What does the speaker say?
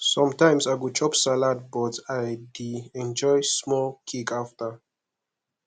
sometimes i go chop salad but i dey enjoy small cake after